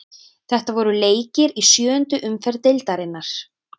Þetta voru leikir í sjöundu umferð deildarinnar.